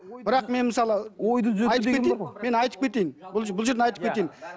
бірақ мен мысалы айтып кетейін мен айтып кетейін бұл жерін айтып кетейін